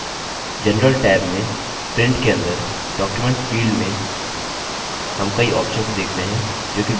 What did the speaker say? general tab में print के अंदर document field में हम कई options देखते हैं जो की विशिष्ट रूप से impress में मौजूद है